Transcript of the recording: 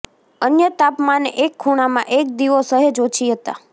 અન્ય તાપમાને એક ખૂણામાં એક દીવો સહેજ ઓછી હતાં